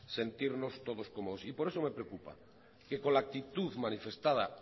sentirnos todos cómodos y por eso me preocupa que con la actitud manifestada